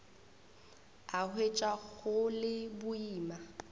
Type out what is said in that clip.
a hwetša go le boima